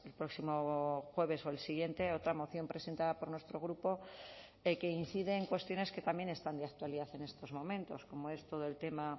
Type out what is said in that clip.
próximo jueves o el siguiente otra moción presentada por nuestro grupo que incide en cuestiones que también están de actualidad en estos momentos como es todo el tema